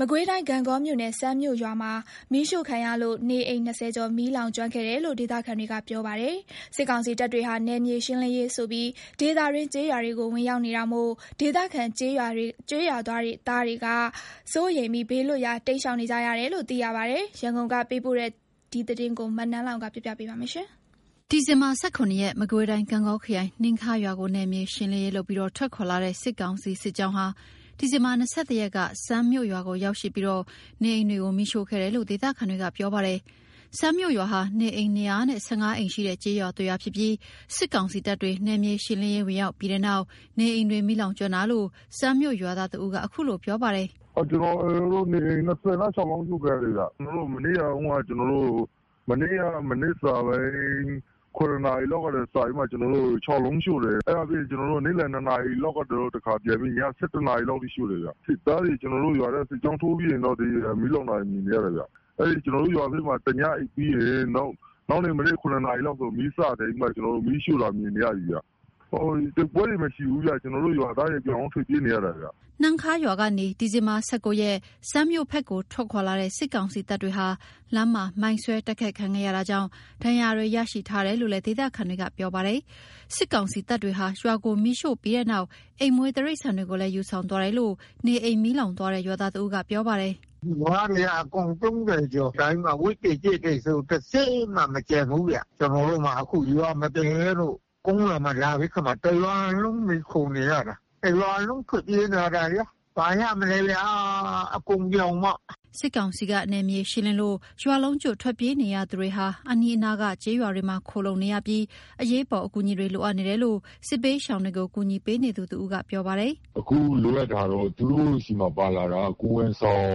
မကွေးတိုင်း ဂန့်ဂေါမြို့နယ် စန်းမြို့ရွာမှာ မီးရှို့ခံရလို့ နေအိမ် ၂၀ ကျော် မီးလောင်ကျွမ်းခဲ့တယ်လို့ ဒေသခံတွေကပြောပါတယ်။ စစ်ကောင်စီတပ်တွေဟာ နယ်မြေရှင်းလင်းရေးဆိုပြီး ဒေသတွင်း ကျေးရွာတွေကို ဝင်ရောက်နေတာမို့ ဒေသခံကျေးရွာ သားတွေက စိုးရိမ်ပြီး ဘေးလွတ်ရာ တိမ်းရှောင်နေကြရတယ်လို့လည်း သိရပါတယ်။ ရန်ကုန်က ပေးပို့ထားတဲ့ သတင်းကို နန်းလောဝ်က တင်ပြပေးထားပါတယ်။ ဒီဇင်ဘာ ၁၇ ရက်က မကွေးတိုင်း ဂန့်ဂေါခရိုင် နှမ်းခါးရွာကို နယ်မြေရှင်းလင်းရေးလုပ်ပြီး ထွက်ခွာလာတဲ့ စစ်ကောင်စီ စစ်ကြောင်းဟာ ဒီဇင်ဘာ ၂၁ ရက်က စန်းမြို့ ရွာကို ရောက်ရှိပြီး နေအိမ်တွေကို မီးရှို့ခဲ့တယ်လို့ ဒေသခံတွေက ပြောပါတယ်။ စန်းမြို့ရွာဟာ နေအိမ် ၂၁၅ အိမ်ရှိတဲ့ ကျေးရွာတရွာဖြစ်ပြီး စစ်ကောင်စီတပ်တွေ နယ်မြေရှင်းလင်းရေး ဝင်ရောက်ပြီးနောက် နေအိမ်တွေ မီးလောင်ကျွမ်းတာလို့ စန်းမြို့ရွာသား တဦးက အခုလိုပြောပါတယ်။ “နေအိမ် ၂၆ လုံး အရှို့ခံရတယ်ခင်ဗျ။ မနေ့ မနက် ၇ နာရီလောက်က ၆ လုံးရှို့ တယ်။ နေ့လည် ၂ နာရီလောက်က တခါပြန်ပြီး ည ၁၁ နာရီလောက်မှာ တခါထပ်ရှို့တယ်။ စစ်သားတွေ စစ်ကြောင်းထိုးပြီးချိန်မှာ ကျနော်တို့ ရွာထဲ မီးလောင်တာ မြင် ရတယ်။ ကျနော်တို့ ရွာမှာ တညအိပ်ပြီး နောက်နေ့မနက် ၇ နာရီလောက်မှာ မီးရှို့ တာ မြင်နေရပြီခင်ဗျ။ တိုက်ပွဲတွေ မရှိဘူး။ ကျနော်တို့ ရွာသားတွေ အကုန်ထွက်ပြေးနေရတာ။” နှမ်းခါးရွာကနေ ဒီဇင်ဘာ ၁၉ ရက်မှာ စန်းမြို့ဘက်ကို ထွက်ခွာလာတဲ့ စစ်ကောင်စီတပ်တွေဟာ လမ်းမှာ မိုင်းဆွဲတိုက်ခိုက်ခံခဲ့ရတာကြောင့် ဒဏ်ရာရတွေရှိတယ်လို့ ဒေသခံတွေကပြောပါတယ်။ စစ်ကောင်စီတပ်တွေဟာ ရွာကိုမီးရှို့ပြီးနောက် အိမ်မွေးတိရိစ္ဆာန်တွေကိုလည်း ယူဆောင်သွားတယ်လို့ နေအိမ်မီးလောင်သွားတဲ့ ရွာသား တဦးက ပြောပါတယ်။ “နွားတွေက အကောင် ၃၀ ကျော်၊ ဝက်တွေ၊ ကြက်တွေဆို တစက်မှ မကျန်ဘူးဗျ။ ကျနော်တို့မှာ ရွာမပြန်ရဲလို့ ကုန်းရွာမှာ တရွာလုံးမှီခိုနေရတာ။ တရွာလုံးထွက်ပြေးလာရတာ ဘာရမလဲဗျာ အကုန်ပြောင်ပေါ့။” စစ်ကောင်စီက နယ်မြေရှင်းလင်းလို့ ရွာလုံးကျွတ် ထွက်ပြေးနေရသူတွေဟာ အနီးနားက ကျေးရွာတွေမှာ ခိုလှုံနေရပြီး အရေးပေါ်အကူအညီတွေ လိုအပ်နေတယ်လို့ စစ်ဘေးရှောင်တွေကို ကူညီပေးနေသူတဦးက ပြောပါတယ်။ “အခုလိုအပ်တာက သူတို့ဆီမှာ ပါလာတာက ကိုယ်ဝန်ဆောင်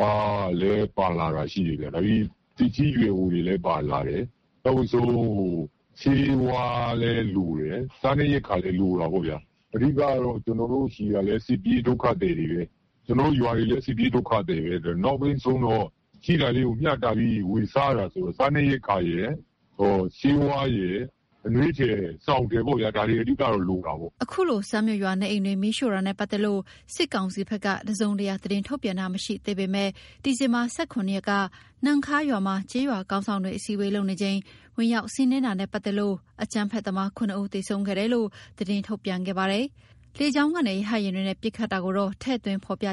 ကလည်း ပါလာတာရှိတယ်။ သက်ကြီး ရွယ်အိုတွေလည်း ပါလာတယ်။ ဆေးဝါးလည်းလိုတယ်။ စားနပ်ရိက္ခာလည်း လိုတာပေါ့ဗျာ။ အဓိက ကျွန်တော်တို့ဆီကလည်း စစ်ပြေးဒုက္ခသည်တွေပဲ။ ကျနော်တို့ရွာလည်း စစ်ပြေးဒုက္ခသည်ပဲ။ နောက်ဆုံး ရှိတာလေးကို ဝေမျှပြီး စားနေရတာဆိုတော့ စားနပ်ရိက္ခာရယ်၊ ဆေးဝါးရယ်၊ အနွေးထည်၊ စောင်ထည်ပေါ့ ဒါတွေ အဓိကလိုတာပေါ့။” အခုလို စန်းမြို့ရွာ နေအိမ်တွေမီးရှို့တာနဲ့ ပတ်သက်လို့ စစ်ကောင်စီက တစုံတရာ သတင်းထုတ်ပြန်တာ မရှိသေးပေမယ့် ဒီဇင်ဘာ ၁၇ ရက်က နှမ်းခါးရွာမှာ ကျေးရွာခေါင်းဆောင်တွေ အစည်းဝေးလုပ်နေချိန် ဝင်ရောက်စီးနင်းတာနဲ့ ပတ်သက်လို့ အကြမ်းဖက်သမား ၇ ဦး သေဆုံးခဲ့တယ်လို့ သတင်းထုတ်ပြန်ခဲ့ပါတယ်။ လေကြောင်းကနေ ရဟတ်ယာဉ်တွေနဲ့ ပစ်ခတ်တာကိုတော့ ထည့်သွင်း မဖော်ပြခ